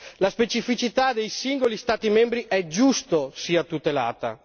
La specificità dei singoli Stati membri è giusto sia tutelata.